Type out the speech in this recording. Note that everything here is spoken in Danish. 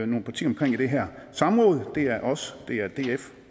nogle partier omkring i det her samråd det er os det er df